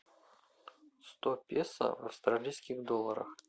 сто песо в австралийских долларах